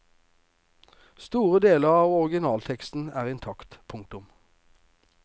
Store deler av originalteksten er intakt. punktum